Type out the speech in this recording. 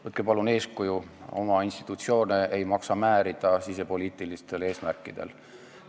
Võtke palun eeskuju: oma institutsioone ei maksa sisepoliitilistel eesmärkidel määrida.